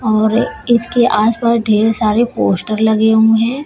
और इसके आस पास ढेर सारे पोस्टर लगे हुए हैं।